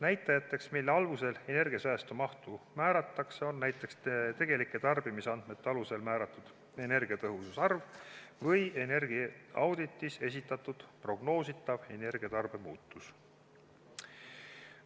Näitajateks, mille alusel energiasäästu mahtu määratakse, on näiteks tegelike tarbimisandmete alusel määratud energiatõhususarv või energiaauditis esitatud prognoositav energiatarbe muutus.